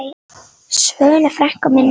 Svönu frænku minni.